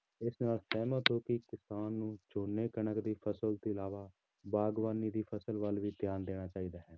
ਇਸ ਨਾਲ ਸਹਿਮਤ ਹੋ ਕਿ ਕਿਸਾਨ ਨੂੰ ਝੋਨੇ ਕਣਕ ਦੀ ਫ਼ਸਲ ਤੋਂ ਇਲਾਵਾ ਬਾਗ਼ਬਾਨੀ ਦੀ ਫ਼ਸਲ ਵੱਲ ਵੀ ਧਿਆਨ ਦੇਣਾ ਚਾਹੀਦਾ ਹੈ